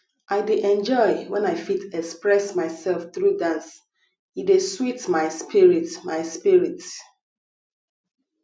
i dey enjoy when i fit express myself through dance e dey sweet my spirit my spirit